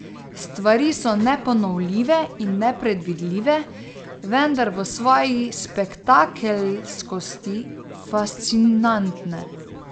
Stvari so neponovljive in nepredvidljive, vendar v svoji spektakelskosti fascinantne.